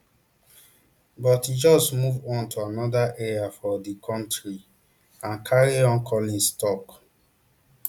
but e just move on to anoda area for di kontri and carry on collins tok